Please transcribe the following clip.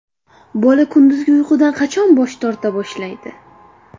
Bola kunduzgi uyqudan qachon bosh torta boshlaydi ?